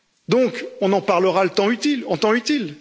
Donc, on en parlera en temps utile.